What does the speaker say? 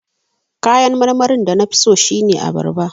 Kayan marmarin da na fi so shine abarba.